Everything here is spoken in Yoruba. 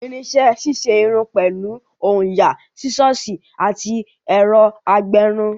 Irinṣẹ́ ṣíṣe irun pẹ̀lú òyà, Sísọ̀sì àti ẹ̀rọ agbẹrun